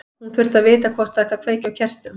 Hún þurfti að vita hvort það ætti að kveikja á kertum.